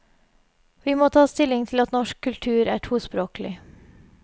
Vi må ta stilling til at norsk kultur er tospråklig.